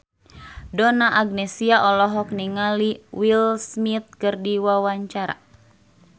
Donna Agnesia olohok ningali Will Smith keur diwawancara